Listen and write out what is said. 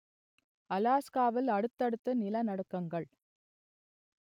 அலாஸ்காவில் அடுத்தடுத்து நிலநடுக்கங்கள்